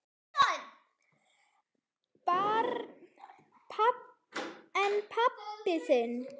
Barn: En pabbi þinn?